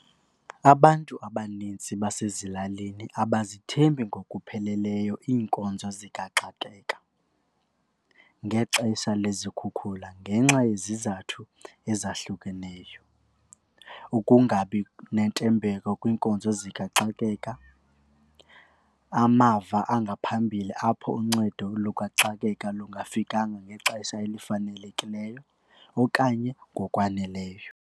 Abantu abanintsi basezilalini abazithembi ngokupheleleyo iinkonzo zikaxakeka ngexesha lezikhukhula ngenxa yezizathu ezahlukeneyo. Ukungabi nentembeko kwiinkonzo zikaxakeka, amava angaphambili apho uncedo lukaxakeka lungafikanga ngexesha elifanelekileyo okanye ngokwaneleyo.